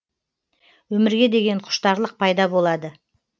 өмірге деген құштарлық пайда болады